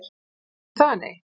Ekki það nei?